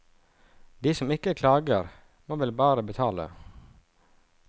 De som ikke klager må vel bare betale?